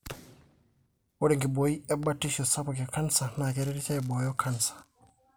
ore enkiboi e batisho sapuk e canser na keretisho aiboyo canser.